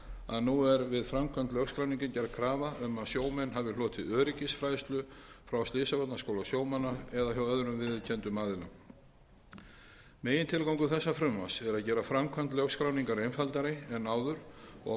að nú er við framkvæmd lögskráningar gerð krafa um að sjómenn hafi hlotið öryggisfræðslu frá slysavarnaskóla sjómanna eða hjá öðrum viðurkenndum aðila megintilgangur þessa frumvarps er að gera framkvæmd lögskráningar einfaldari en áður og